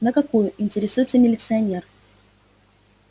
на какую интересуется милиционер